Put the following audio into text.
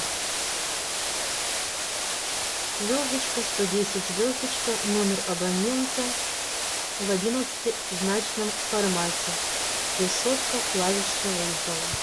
звездочка сто десять звездочка номер абонента в одиннадцатизначном формате решетка клавиша вызова